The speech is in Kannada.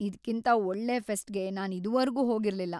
ಇದ್ಕಿಂತ ಒಳ್ಳೆ ಫೆಸ್ಟ್‌ಗೆ ನಾನು ಇದುವರ್ಗೂ ಹೋಗಿರ್ಲಿಲ್ಲ.